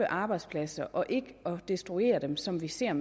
arbejdspladser og ikke destruere dem som vi ser